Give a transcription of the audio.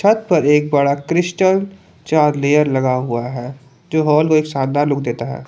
पर एक बड़ा क्रिस्टल चार लेयर लगा हुआ है जो हॉल को एक शानदार लुक देता है।